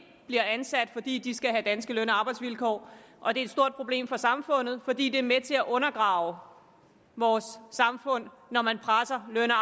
bliver ansat fordi de skal have danske løn og arbejdsvilkår og det er et stort problem for samfundet fordi det er med til at undergrave vores samfund når man presser løn og